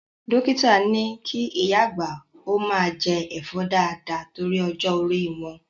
Dókítà ni kí ìyá àgbà ó máa jẹ Ẹ̀fọ́ dáàda torí ọjọ́ orí wọn.